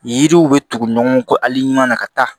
Yiriw bɛ tugu ɲɔgɔn kɔ ali ɲuman na ka taa